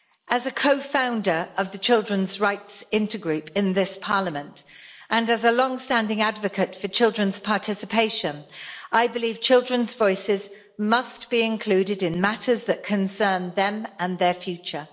As a co founder of the Children's Rights Intergroup in this Parliament and as a longstanding advocate for children's participation, I believe children's voices must be included in matters that concern them and their future.